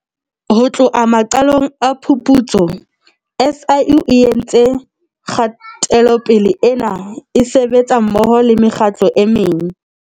Ho tloha maqalong a phuputso, SIU e entse kgatelopele ena e sebetsa mmoho le mekgatlo e meng.